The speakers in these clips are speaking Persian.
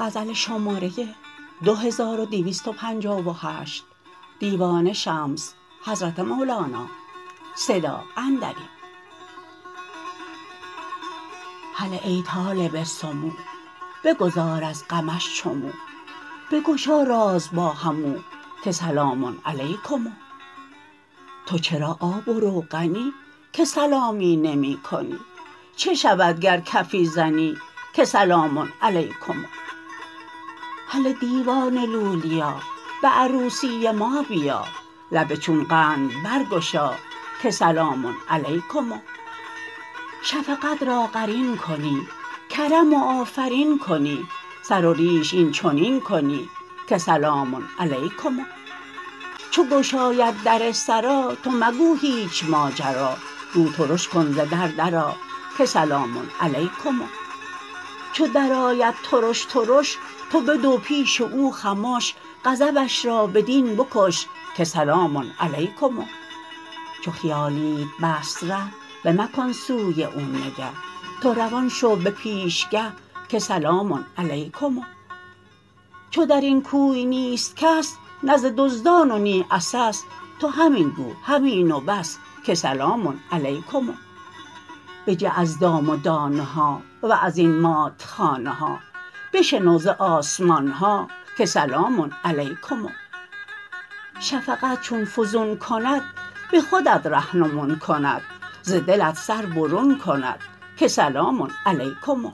هله ای طالب سمو بگداز از غمش چو مو بگشا راز با همو که سلام علیکم تو چرا آب و روغنی که سلامی نمی کنی چه شود گر کفی زنی که سلام علیکم هله دیوانه لولیا به عروسی ما بیا لب چون قند برگشا که سلام علیکم شفقت را قرین کنی کرم و آفرین کنی سر و ریش این چنین کنی که سلام علیکم چو گشاید در سرا تو مگو هیچ ماجرا رو ترش کن ز در درآ که سلام علیکم چو درآید ترش ترش تو بدو پیش او خمش غضبش را بدین بکش که سلام علیکم چو خیالیت بست ره بمکن سوی او نگه تو روان شو به پیشگه که سلام علیکم چو در این کوی نیست کس نه ز دزدان و نی عسس تو همین گو همین و بس که سلام علیکم بجه از دام و دانه ها و از این مات خانه ها بشنو ز آسمان ها که سلام علیکم شفقت چون فزون کند به خودت رهنمون کند ز دلت سر برون کند که سلام علیکم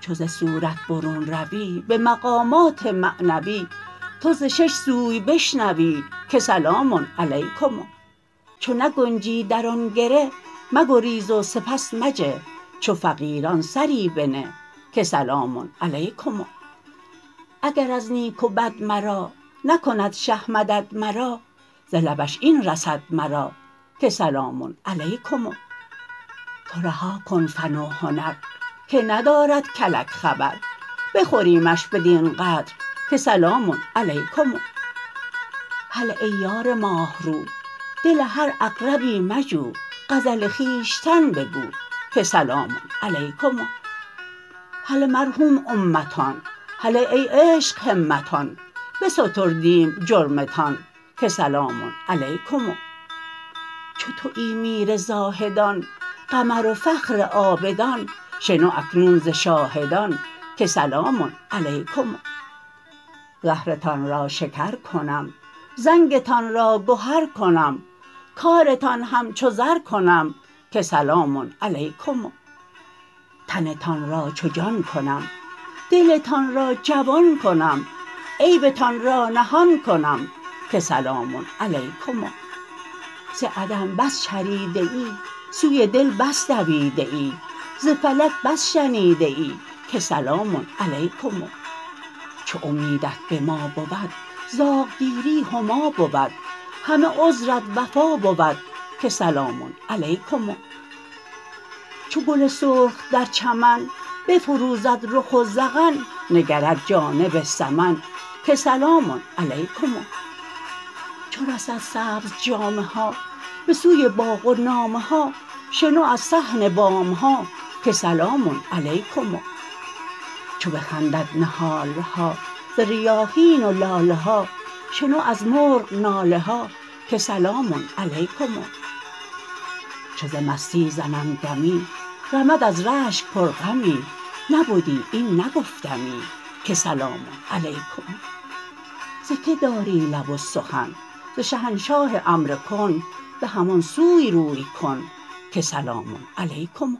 چو ز صورت برون روی به مقامات معنوی تو ز شش سوی بشنوی که سلام علیکم چو نگنجی در آن گره مگریز و سپس مجه چو فقیران سری بنه که سلام علیکم اگر از نیک و بد مرا نکند شه مدد مرا ز لبش این رسد مرا که سلام علیکم تو رها کن فن و هنر که ندارد کلک خبر بخوریمش بدین قدر که سلام علیکم هله ای یار ماه رو دل هر عقربی مجو غزل خویشتن بگو که سلام علیکم هله مرحوم امتان هله ای عشق همتان بستردیم جرمتان که سلام علیکم چو توی میر زاهدان قمر و فخر عابدان شنو اکنون ز شاهدان که سلام علیکم زهرتان را شکر کنم زنگتان را گهر کنم کارتان همچو زر کنم که سلام علیکم تنتان را چو جان کنم دلتان را جوان کنم عیبتان را نهان کنم که سلام علیکم ز عدم بس چریده ای سوی دل بس دویده ای ز فلک بس شنیده ای که سلام علیکم چو امیدت به ما بود زاغ گیری هما بود همه عذرت وفا بود که سلام علیکم چو گل سرخ در چمن بفروزد رخ و ذقن نگرد جانب سمن که سلام علیکم چو رسد سبزجامه ها به سوی باغ و نامه ها شنو از صحن بام ها که سلام علیکم چو بخندد نهال ها ز ریاحین و لاله ها شنو از مرغ ناله ها که سلام علیکم چو ز مستی زنم دمی رمد از رشک پرغمی نبدی این نگفتمی که سلام علیکم ز کی داری لب و سخن ز شهنشاه امر کن به همان سوی روی کن که سلام علیکم